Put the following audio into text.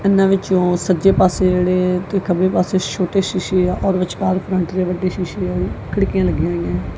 ਇਹਨਾਂ ਵਿੱਚੋਂ ਸੱਜੇ ਪਾਸੇ ਜਿਹੜੇ ਕਿ ਖੱਬੇ ਪਾਸੇ ਛੋਟੇ ਸ਼ੀਸ਼ੇ ਆ ਔਰ ਵਿਚਕਾਰ ਫਰੰਟ ਦੇ ਵੱਡੇ ਸ਼ੀਸ਼ੇ ਆਈ ਖਿੜਕੀਆਂ ਲੱਗੀਆਂ ਹੋਈਐਂ।